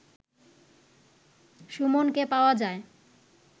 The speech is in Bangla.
সুমনকে পাওয়া যায়